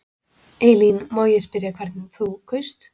Elín: Má ég spyrja hvernig þú kaust?